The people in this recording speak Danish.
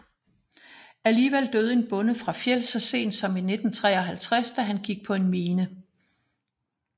Alligevel døde en bonde fra Fjell så sent som i 1953 da han gik på en mine